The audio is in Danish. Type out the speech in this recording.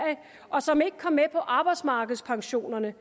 og som ikke kom med på arbejdsmarkedspensionerne